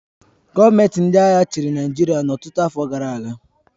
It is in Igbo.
Gọọmenti ndị agha chịrị Naịjirịa ọtụtụ afọ gara aga